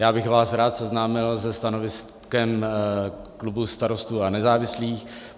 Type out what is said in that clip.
Já bych vás rád seznámil se stanoviskem klubu Starostů a nezávislých.